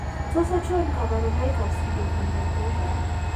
Tos achon kabarunaik ab Pseudoachondroplasia ?